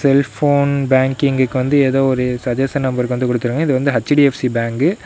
இது போன் பேங்கிங்க்கு வந்து ஏதோ ஒரு சஜசன் நம்பர்க்கு வந்து கொடுத்துருக்காங்க இது வந்து எச்_டி_எப்_சி பேங்க்கு .